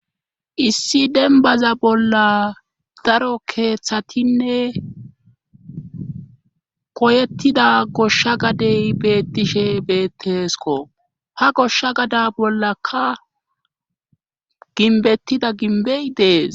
issi denbaza bolla daro keeththatinne koyettida goshsha gadey beettishe beettesko ha goshsha gada bollaka ginbettida ginbey dees